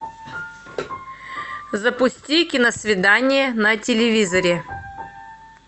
запусти киносвидание на телевизоре